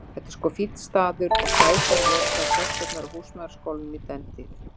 Já, það er sko fínn staður og sætar voru þær stelpurnar á húsmæðraskólanum í dentíð.